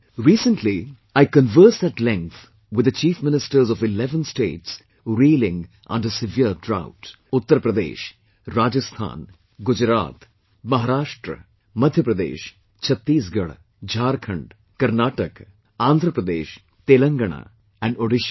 Recently, I convered at length with the Chief Ministers of eleven states, reeling under severe drought Uttar Pradesh, Rajasthan, Gujarat, Maharashtra, Madhya Pradesh, Chhattisgarh, Jharkhand, Karnataka, Andhra Pradesh, Telangana and, Odisha